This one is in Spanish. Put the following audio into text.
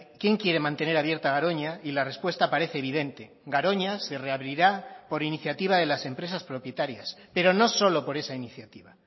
quién quiere mantener abierta garoña y la respuesta parece evidente garoña se reabrirá por iniciativa de las empresas propietarias pero no solo por esa iniciativa